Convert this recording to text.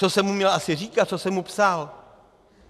Co jsem mu měl asi říkat, co jsem mu psal?